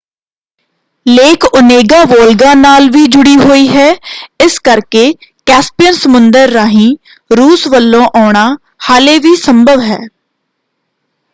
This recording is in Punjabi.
ਲੇਕ ਓਨੇਗਾ ਵੋਲਗਾ ਨਾਲ ਵੀ ਜੁੜ੍ਹੀ ਹੋਈ ਹੈ ਇਸ ਕਰਕੇ ਕੈਸਪੀਅਨ ਸਮੁੰਦਰ ਰਾਹੀਂ ਰੂਸ ਵੱਲੋਂ ਆਉਣਾ ਹਾਲੇ ਵੀ ਸੰਭਵ ਹੈ।